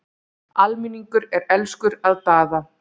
Almenningur er elskur að Daða.